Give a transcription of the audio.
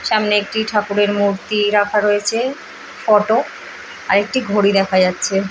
সামনে একটি ঠাকুরের মূর্তি রাখা রয়েছে ফটো একটি ঘড়ি দেখা যাচ্ছে।